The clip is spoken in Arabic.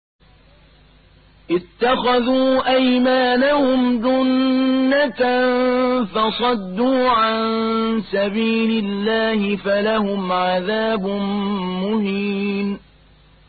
اتَّخَذُوا أَيْمَانَهُمْ جُنَّةً فَصَدُّوا عَن سَبِيلِ اللَّهِ فَلَهُمْ عَذَابٌ مُّهِينٌ